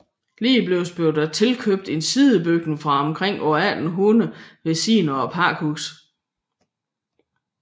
Ligeledes blev der tilkøbt en sidebygning fra omkring år 1800 ved siden af pakhuset